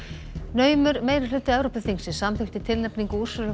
naumur meirihluti Evrópuþingsins samþykkti tilnefningu